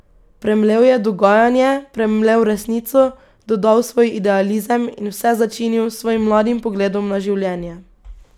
Premlel je dogajanje, premlel resnico, dodal svoj idealizem in vse začinil s svojim mladim pogledom na življenje.